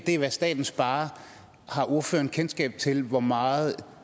er hvad staten sparer har ordføreren kendskab til hvor meget